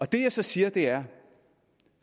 det jeg så siger er